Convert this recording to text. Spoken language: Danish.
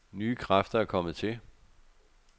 Nye kræfter er kommet til.